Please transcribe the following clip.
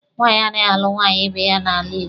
Nwaanyị anaghị alụ nwaanyị ibe ya n'ala Igbo.